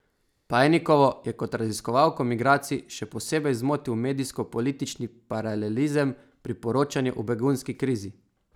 Pajnikovo je kot raziskovalko migracij še posebej zmotil medijsko politični paralelizem pri poročanju o begunski krizi.